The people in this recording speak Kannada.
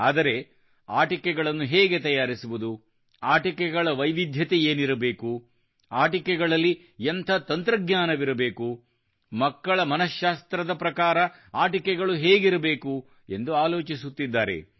ಆದರೆ ಆಟಿಕೆಗಳಳನ್ನು ಹೇಗೆ ತಯಾರಿಸುವುದು ಆಟಿಕೆಗಳ ವೈವಿಧ್ಯತೆ ಏನಿರಬೇಕು ಆಟಿಕೆಗಳಲ್ಲಿ ಎಂಥ ತಂತ್ರಜ್ಞಾನವಿರಬೇಕು ಮಕ್ಕಳ ಮನಃಶಾಸ್ತ್ರದ ಪ್ರಕಾರ ಆಟಿಕೆಗಳು ಹೇಗಿರಬೇಕು ಎಂದು ಆಲೋಚಿಸುತ್ತಿದ್ದಾರೆ